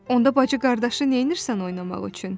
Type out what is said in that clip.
Onda bacı-qardaşı neynirsən oynamaq üçün?